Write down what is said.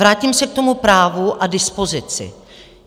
Vrátím se k tomu právu a dispozici.